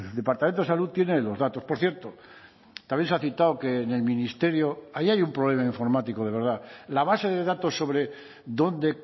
departamento de salud tiene los datos por cierto también se ha citado que en el ministerio ahí hay un problema informático de verdad la base de datos sobre dónde